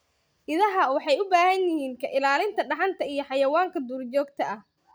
Idaha waxay u baahan yihiin ka ilaalin dhaxanta iyo xayawaanka duurjoogta ah.